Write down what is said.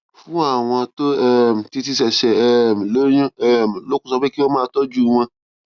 fún àwọn tó um ti ti ṣèṣè um lóyún um lókun sọ pé kí wón máa tójú wọn